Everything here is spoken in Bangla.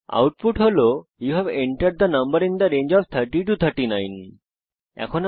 output you have entered the number in the range of 30 to 39 হিসাবে প্রদর্শিত হয়েছে